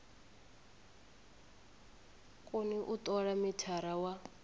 koni u tola mithara wa